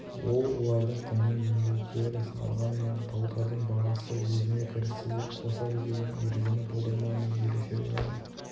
ол олардың құнның еңбек теориясын алғанымен тауардың бағасы өзіне кірісті де қосады деген ережені болдырмаумен ерекшеленеді